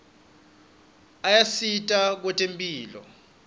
ayasita kwetemphilo